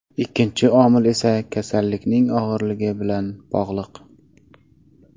Ikkinchi omil esa kasallikning og‘irligi bilan bog‘liq.